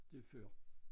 Det er før